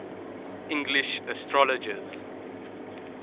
english astrologers